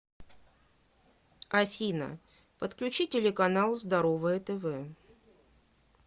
афина подключи телеканал здоровое тв